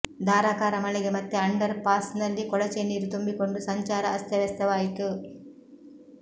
ಧಾರಾಕಾರ ಮಳೆಗೆ ಮತ್ತೆ ಅಂಡರ್ ಪಾಸ್ನಲ್ಲಿ ಕೊಳಚೆ ನೀರು ತುಂಬಿಕೊಂಡು ಸಂಚಾರ ಅಸ್ತವ್ಯಸ್ತವಾಯಿತು